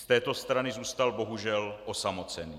Z této strany zůstal bohužel osamocený.